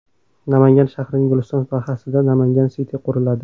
Namangan shahrining Guliston dahasida Namangan City quriladi .